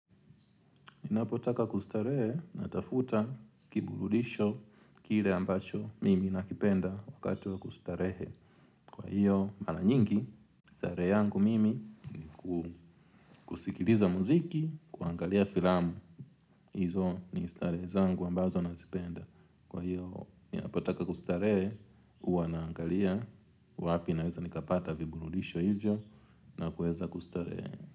Ni napotaka kustarehe na tafuta kiburudisho kile ambacho mimi nakipenda wakati wa kustarehe. Kwahio mara nyingi starehe yangu mmi nikusikiliza mziki na kuangalia filamu. Izo ni istarehe zangu ambazo na zipenda. Kwahio ninapotaka kustarehe huwa naangalia wapi naweza nikapata viburudisho hivyo na kuweza kustarehe.